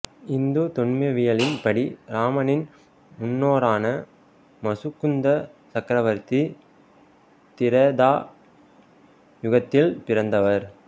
இந்து தொன்மவியலின் படி இராமனின் முன்னோரான முசுகுந்த சக்கரவர்த்தி திரேதா யுகத்தில் பிறந்தவர்